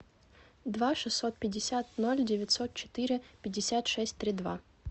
два шестьсот пятьдесят ноль девятьсот четыре пятьдесят шесть три два